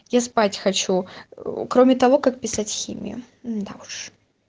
я спать хочу кроме того как писать химию да уж